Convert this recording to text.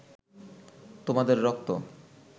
তোমাদের রক্ত